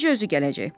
Eləcə özü gələcək.